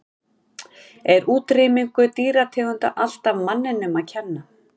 Er útrýming dýrategunda alltaf manninum að kenna?